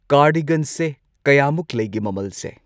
ꯀꯥꯔꯗꯤꯒꯟꯁꯦ ꯀꯌꯥꯃꯨꯛ ꯂꯩꯒꯦ ꯃꯃꯜꯁꯦ